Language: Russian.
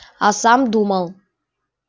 а сам думал